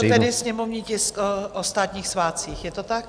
Ano, to byl tedy sněmovní tisk o státních svátcích, je to tak?